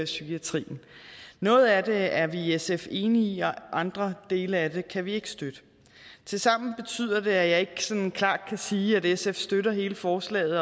psykiatrien noget af det er vi i sf enige i og andre dele af det kan vi ikke støtte tilsammen betyder det at jeg ikke klart kan sige at sf støtter hele forslaget